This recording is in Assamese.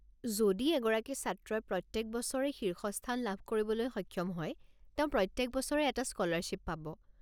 যদি এগৰাকী ছাত্ৰই প্ৰত্যেক বছৰে শীৰ্ষস্থান লাভ কৰিবলৈ সক্ষম হয়, তেওঁ প্ৰত্যেক বছৰে এটা স্কলাৰশ্বিপ পাব।